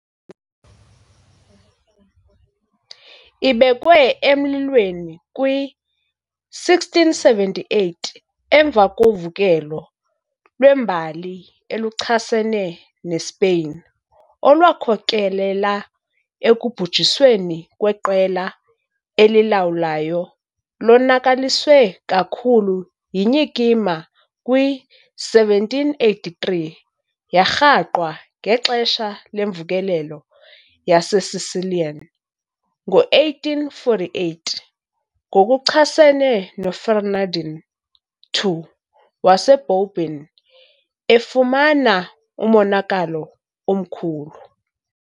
Ibekwe emlilweni kwi -1678 emva kovukelo lwembali eluchasene neSpeyin olwakhokelela ekubhujisweni kweqela elilawulayo, lonakaliswe kakhulu yinyikima kwi-1783 . Yarhaqwa ngexesha lemvukelo yaseSicilian ngo-1848 ngokuchasene noFerdinand II waseBourbon, efumana umonakalo omkhulu.